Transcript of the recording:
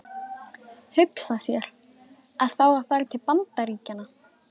Hugsa sér, að fá að fara til Bandaríkjanna!